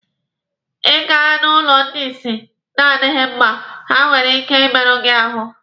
Ị gaa n'ụlọ ndị isi na-adịghi mma, ha nwere ike ị merụ gị ahụ.